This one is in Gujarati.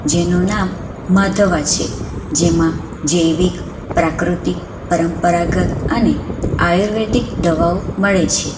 જેનું નામ માધવા છે જેમાં જૈવિક પ્રાકૃતિક પરંપરાગત અને આયુર્વેદિક દવાઓ મળે છે.